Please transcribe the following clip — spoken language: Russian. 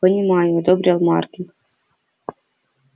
понимаю одобрил маркин